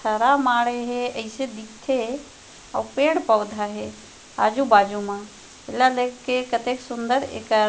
पथरा माढ़हे हे अइसे दिखथे आऊ पेड़-पौधा हे आजु-बाजु मा ये ला देख के कतेक सूंदर एकर--